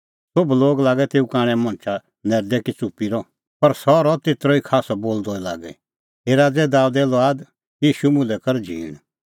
सोभ लागै तेऊ कांणै मणछा लै नैरदै कि च़ुप्पी रह पर सह रहअ तेतरअ खास्सअ बोलदअ ई लागी हे राज़ै दाबेदे लुआद ईशू मुल्है कर झींण